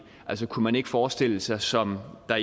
altså kunne man ikke forestille sig som der